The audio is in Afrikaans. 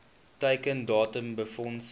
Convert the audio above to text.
teiken datum befondsing